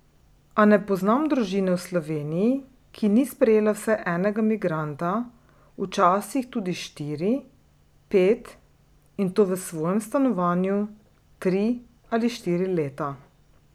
A ne poznam družine v Sloveniji, ki ni sprejela vsaj enega migranta, včasih tudi štiri, pet, in to v svojem stanovanju, tri ali štiri leta.